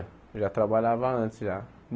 Eu já trabalhava antes já.